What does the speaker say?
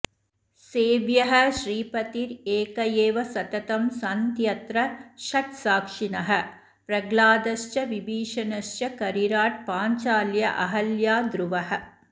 सेव्यः श्रीपतिरेक एव सततं सन्त्यत्र षट् साक्षिणः प्रह्लादश्च विभीषणश्च करिराट् पाञ्चाल्यहल्या ध्रुवः